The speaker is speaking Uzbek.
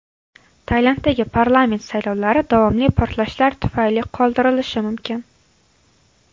Tailanddagi parlament saylovlari davomli portlashlar tufayli qoldirilishi mumkin.